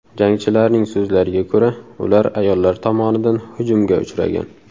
Jangchilarning so‘zlariga ko‘ra, ular ayollar tomonidan hujumga uchragan.